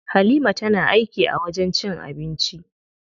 Halima tana aiki a wajen cin abinci.